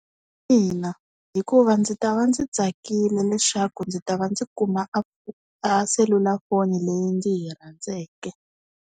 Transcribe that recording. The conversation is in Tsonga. Ina, hikuva ndzi ta va ndzi tsakile leswaku ndzi ta va ndzi kuma a a selulafoni leyi ndzi yi rhandzeke.